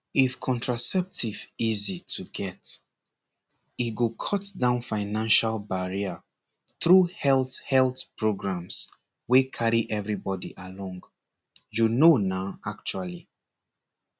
if contraceptive easy to get e go cut down financial barrier through health health programs wey carry everybody along you know na actually